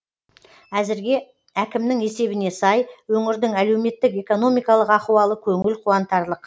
әзірге әкімнің есебіне сай өңірдің әлеуметтік экономикалық ахуалы көңіл қуантарлық